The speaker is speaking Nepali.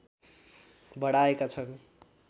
बढाएका छन्